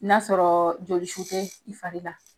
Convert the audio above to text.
N'a sɔrɔ jolisu te fari la